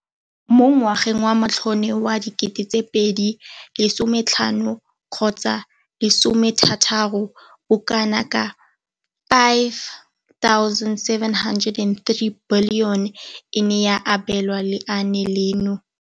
Mo ngwageng wa matlole wa 2015 gotsa 16, bokanaka 5 703 bilione e ne ya abelwa leaane leno.